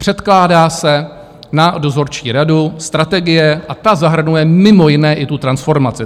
Předkládá se na dozorčí radu strategie a ta zahrnuje mimo jiné i tu transformaci.